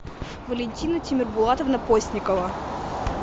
валентина тимербулатовна постникова